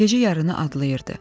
Gecə yarını adlayırdı.